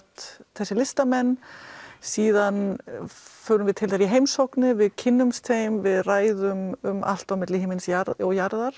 þessa listamenn síðan förum við til þeirra í heimsóknir við kynnumst þeim við ræðum um allt milli himins og jarðar